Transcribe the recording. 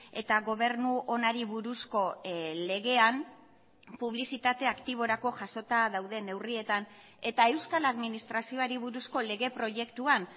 eta gobernu onari buruzko legean publizitate aktiborako jasota dauden neurrietan eta euskal administrazioari buruzko lege proiektuan